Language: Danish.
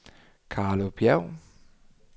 Carlo Bjerg